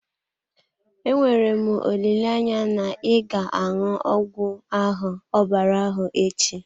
Enwere m olileanya na ị ga-aṅụ ọgwụ ahụ ọbara ahụ echi?